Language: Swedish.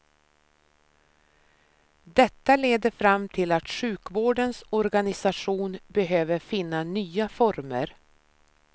Detta leder fram till att sjukvårdens organisation behöver finna nya former.